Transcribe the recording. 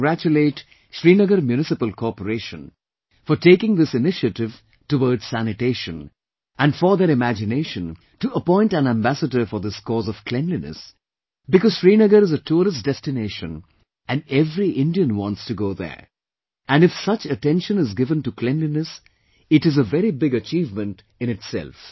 I congratulate Srinagar Municipal Corporation for taking this initiative towards sanitation and for their imagination to appoint an ambassador for this cause of cleanliness because Srinagar is a tourist destination and every Indian wants to go there; and if such attention is given to Cleanliness it is a very big achievement in itself